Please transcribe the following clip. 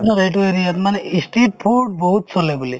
আপোনাৰ এইটো area ত মানে ই street food বহুত চলে বুলি